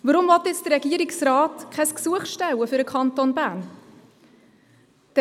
Warum will nun der Regierungsrat kein Gesuch für den Kanton Bern stellen?